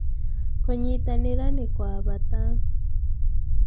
kũnyitanĩra nĩ kwa bata